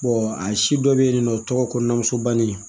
a si dɔ bɛ yen nɔ o tɔgɔ ko nan muso banni